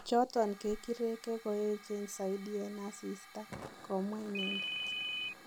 choton kekireke koechen zaidi en asista, komwa inendet